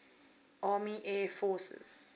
army air forces